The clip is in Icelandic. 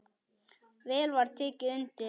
Vel var tekið undir.